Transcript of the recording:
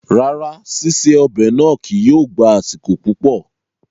Rárá, ṣiṣe ọ́bẹ̀ náá kìí yóó gba asiko pupọ